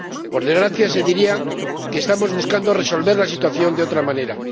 Por desgracia, se diría que estamos buscando resolver la situación de otra manera.